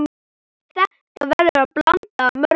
Þetta verður blanda af mörgu.